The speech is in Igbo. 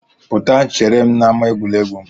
Pụta chere m n'ama egwuregwu!